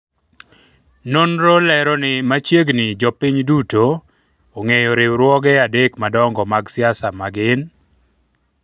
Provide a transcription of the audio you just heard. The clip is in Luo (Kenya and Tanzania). nonro lero ni machiegni jopiny duto ong'eyo riwruoge adek madongo mag siasa ma gin